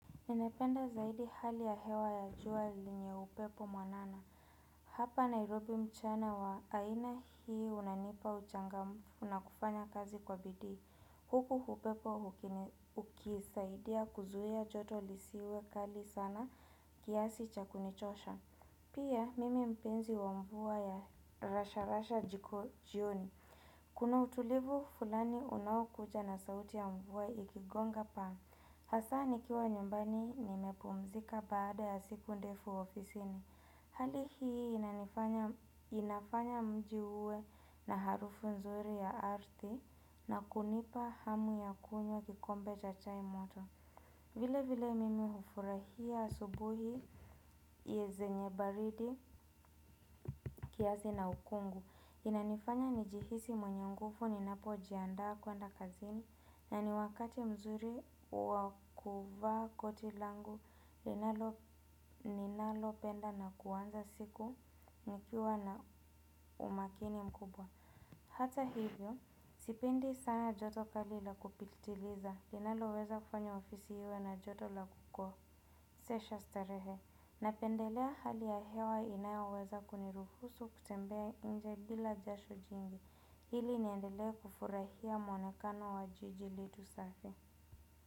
Ninapenda zaidi hali ya hewa ya jua lenye upepo mwanana. Hapa Nairobi mchana wa aina hii unanipa uchangamfu na kufanya kazi kwa bidii. Huku upepo ukisaidia kuzuia joto lisiwe kali sana kiasi cha kunichosha. Pia mimi mpenzi wa mvua ya rasha rasha jiko jioni. Kuna utulivu fulani unaokuja na sauti ya mvua ikigonga paa. Hasaa nikiwa nyumbani nimepumzika baada ya siku ndefu ofisini. Hali hii inafanya mji uwe na harufu nzuri ya ardhi na kunipa hamu ya kunywa kikombe cha chai moto. Vile vile mimi hufurahia asubuhi yezenye baridi kiasi na ukungu. Inanifanya nijihisi mwenye nguvu ninapojiandaa kuenda kazini na ni wakati mzuri wa kuvaa koti langu ninalopenda na kuanza siku nikiwa na umakini mkubwa. Hata hivyo, sipendi sana joto kali la kupilitiliza, linaloweza kufanya ofisi iwe na joto la kukosesha starehe. Napendelea hali ya hewa inayoweza kuniruhusu kutembea nje bila jasho jingi. Ili niendelee kufurahia mwonekano wa jiji letu safi.